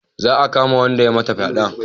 Za a kama wanda ya mata fyade